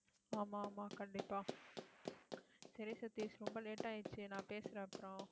ஆமா, ஆமா, கண்டிப்பா சரி சதீஷ் ரொம்ப late ஆயிருச்சு நான் பேசறேன் அப்புறம்